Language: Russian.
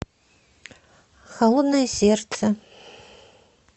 холодное сердце